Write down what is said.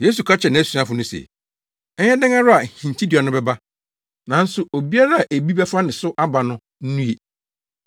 Yesu ka kyerɛɛ nʼasuafo no se, “Ɛyɛ dɛn ara a hintinnua no bɛba, nanso obiara a ebi bɛfa ne so aba no nnue.